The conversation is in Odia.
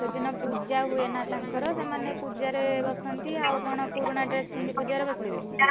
ସେଦିନ ପୂଜା ହୁଏନା ତାଙ୍କର ସେମାନେ ପୂଜା ରେ ବସନ୍ତି ଆଉ କଣ ପୁରୁଣା dress ପିନ୍ଧି ପୂଜାରେ ବସିବେ?